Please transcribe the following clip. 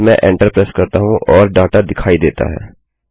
फिर मैं enter press करता हूँ और डाटा दिखाई देता है